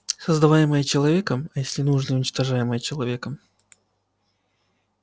создаваемый человеком а если нужно и уничтожаемый человеком